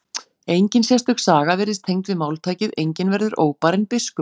Engin sérstök saga virðist tengd við máltækið enginn verður óbarinn biskup.